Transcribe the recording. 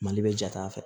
Mali bɛ jate a fɛ